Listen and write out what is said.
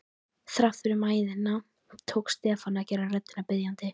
Þrátt fyrir mæðina tókst Stefáni að gera röddina biðjandi.